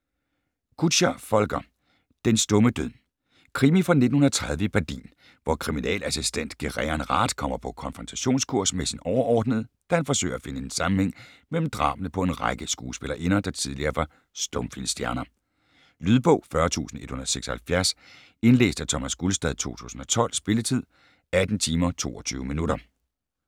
Kutscher, Volker: Den stumme død Krimi fra 1930 i Berlin, hvor kriminalassistent Gereon Rath kommer på konfrontationskurs med sine overordnede, da han forsøger at finde en sammenhæng mellem drabene på en række skuespillerinder, der tidligere var stumfilmstjerner. Lydbog 40176 Indlæst af Thomas Gulstad, 2012. Spilletid: 18 timer, 22 minutter.